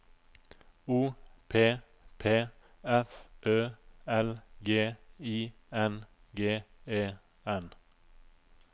O P P F Ø L G I N G E N